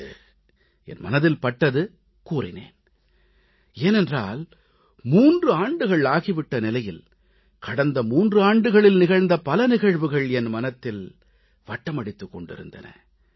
இன்று என் மனதில் பட்டது கூறினேன் ஏனென்றால் 3 ஆண்டுகள் ஆகி விட்ட நிலையில் கடந்த 3 ஆண்டுகளில் நிகழ்ந்த பல நிகழ்வுகள் என் மனதில் வட்டமடித்துக் கொண்டிருந்தன